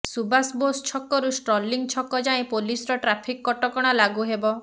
ସୁବାସ ବୋଷ ଛକରୁ ଷ୍ଟର୍ଲିଂ ଛକ ଯାଏଁ ପୋଲିସର ଟ୍ରାଫିକ କଟକଣା ଲାଗୁ ହେବ